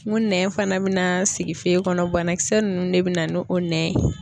N ko nɛn fana bɛn'a sigi fe kɔnɔ banakisɛ nunnu de bina ni o nɛn ye.